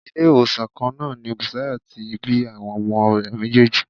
Ilé-ìwòsàn kan náà ni Bùsáyọ̀ tí bí àwọn ọmọ rẹ̀ méjèèjì.